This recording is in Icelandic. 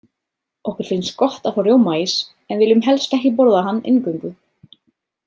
Okkur finnst gott að fá rjómaís, en viljum helst ekki borða hann eingöngu.